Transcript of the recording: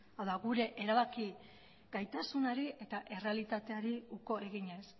hau da gure erabaki gaitasunari eta errealitateari uko eginez